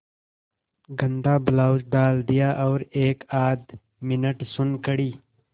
गंदा ब्लाउज डाल दिया और एकआध मिनट सुन्न खड़ी